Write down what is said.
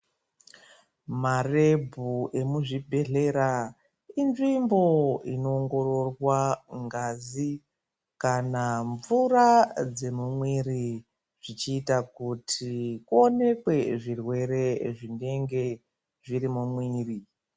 Marebhu emuzvibhedhlera inzvimbo inoongororwa ngazi kana mvura dzemumwiri. Zvichiita kuti kuonekwe zvirwere zvinenge zviri mumwiri.